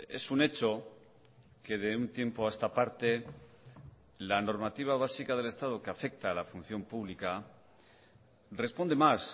es un hecho que de un tiempo a esta parte la normativa básica del estado que afecta a la función pública responde más